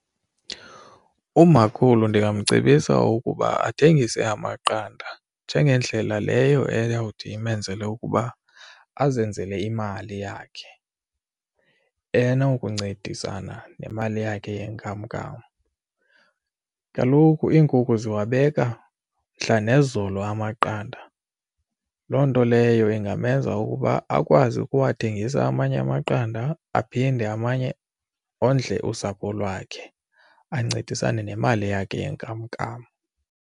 Umakhulu ndingamcebisa ukuba athengise amaqanda njengendlela leyo eyawuthi imenzele ukuba azenzele imali yakhe enokuncedisana nemali yakhe yenkamnkam. Kaloku iinkukhu ziwabeka mhla nezolo amaqanda loo nto leyo ingamenza ukuba akwazi ukuwathengisa amanye amaqanda aphinde amanye ondle usapho lwakhe ancedisane nemali yakhe yenkamnkam.